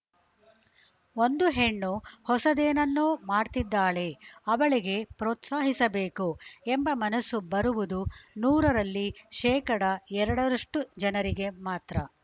ಒಂದು ಹೆಣ್ಣು ಹೊಸದೇನನ್ನೋ ಮಾಡ್ತಿದ್ದಾಳೆ ಅವಳಿಗೆ ಪ್ರೋತ್ಸಾಹಿಸಬೇಕು ಎಂಬ ಮನಸ್ಸು ಬರುವುದು ನೂರರಲ್ಲಿ ಶೇಕಡ ಎರಡರಷ್ಟುಜನರಿಗೆ ಮಾತ್ರ